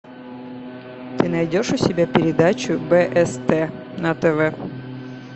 ты найдешь у себя передачу бст на тв